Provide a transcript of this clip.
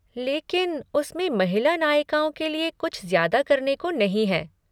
लेकिन उसमें महिला नायिकाओं के लिए कुछ ज्यादा करने को नहीं है।